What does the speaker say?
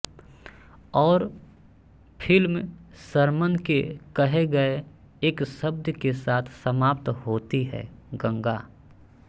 और film sermon के कहे गए एक शब्द के साथ समाप्त होती है गंगा